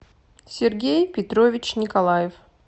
сергей петрович николаев